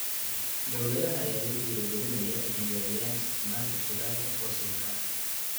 Dowladaha ayaa lagu dhiirigelinayaa inay yareeyaan isticmaalka shidaalka fosilka ah.